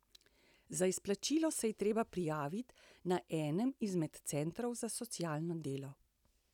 Za izplačilo se je treba prijaviti na enem izmed centrov za socialno delo.